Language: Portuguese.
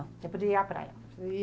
Você podia ir à praia?